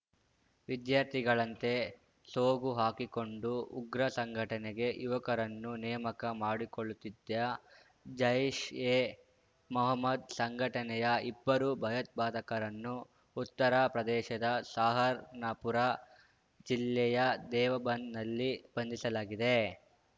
ವಿದ್ಯಾರ್ಥಿಗಳಂತೆ ಸೋಗು ಹಾಕಿಕೊಂಡು ಉಗ್ರ ಸಂಘಟನೆಗೆ ಯುವಕರನ್ನು ನೇಮಕ ಮಾಡುಕೊಳ್ಳುತ್ತಿದ್ದ ಜೈಷ್‌ ಎ ಮೊಹಮ್ಮದ್‌ ಸಂಘಟನೆಯ ಇಬ್ಬರು ಭಯೋತ್ಪಾದಕರನ್ನು ಉತ್ತರ ಪ್ರದೇಶದ ಸಹಾರನ್‌ಪುರ ಜಿಲ್ಲೆಯ ದೇವಬಂದ್‌ನಲ್ಲಿ ಬಂಧಿಸಲಾಗಿದೆ